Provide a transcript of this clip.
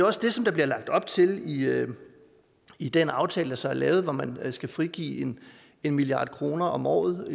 også det der bliver lagt op til i i den aftale der så er lavet hvor man skal frigive en en milliard kroner om året